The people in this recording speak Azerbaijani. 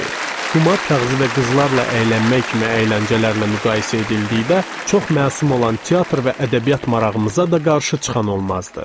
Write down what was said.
Qumar kağızı və qızlarla əylənmək kimi əyləncələrlə müqayisə edildikdə çox məsum olan teatr və ədəbiyyat marağımıza da qarşı çıxan olmazdı.